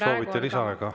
Soovite lisaaega?